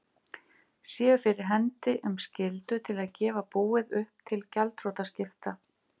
séu fyrir hendi um skyldu til að gefa búið upp til gjaldþrotaskipta.